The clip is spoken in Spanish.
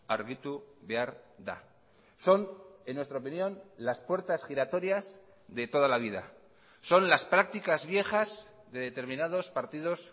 argitu behar da son en nuestra opinión las puertas giratorias de toda la vida son las prácticas viejas de determinados partidos